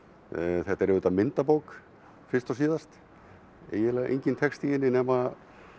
þetta er auðvitað myndabók fyrst og síðast eiginlega enginn texti í henni nema